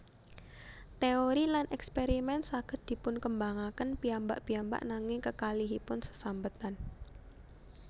Téori lan èkspèrimèn saged dipunkembangaken piyambak piyambak nanging kekalihipun sesambetan